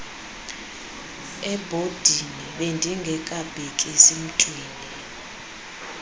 ebhodini bendingabhekisi mntwni